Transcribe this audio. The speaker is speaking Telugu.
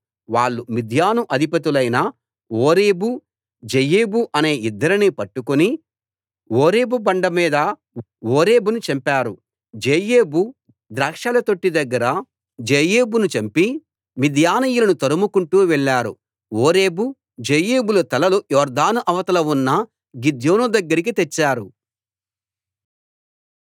వాళ్ళు మిద్యాను అధిపతులైన ఓరేబు జెయేబు అనే ఇద్దరిని పట్టుకుని ఓరేబు బండమీద ఓరేబును చంపారు జెయేబు ద్రాక్షల తొట్టి దగ్గర జెయేబును చంపి మిద్యానీయులను తరుముకుంటూ వెళ్ళారు ఓరేబు జెయేబుల తలలు యొర్దాను అవతల ఉన్న గిద్యోను దగ్గరికి తెచ్చారు